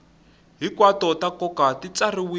hinkwato ta nkoka ti tsariwile